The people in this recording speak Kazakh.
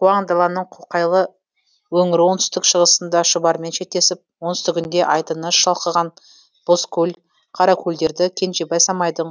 куаң даланың қоқайлы өңірі оңтүстік шығысында шұбармен шектесіп оңтүстігінде айдыны шалқыған бозкөл қаракөлдерді кенжебай самайдың